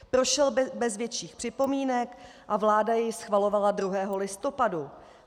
Prošel bez větších připomínek a vláda jej schvalovala 2. listopadu.